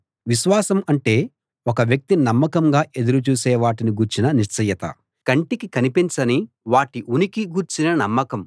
విశ్వాసం అంటే ఒక వ్యక్తి నమ్మకంగా ఎదురు చూసే వాటిని గూర్చిన నిశ్చయత కంటికి కనిపించని వాటి ఉనికి గూర్చిన నమ్మకం